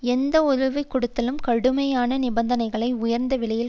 எந்த உதவி கொடுத்தலும் கடுமையான நிபந்தனைகளையும் உயர்ந்த விலையையும்